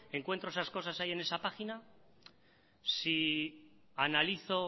encuentro esas cosas ahí en esa página si analizo